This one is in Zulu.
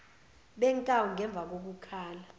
benkawu ngemva kokukhala